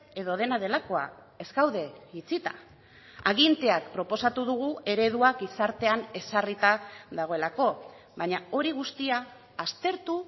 edo dena delakoa ez gaude itxita aginteak proposatu dugu eredua gizartean ezarrita dagoelako baina hori guztia aztertu